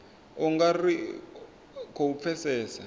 u nga ri khou pfesesa